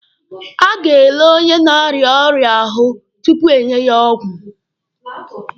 A ga-ele onye na-arịa ọrịa ahụ tupu enye ya ọgwụ.